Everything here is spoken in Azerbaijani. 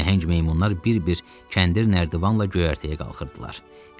Nəhəng meymunlar bir-bir kəndir nərdivanla da göyərtəyə qalxırdılar.